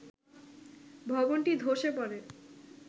ভবনটি ধসে পড়ে